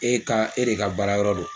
E ka e de ka baara yɔrɔ do.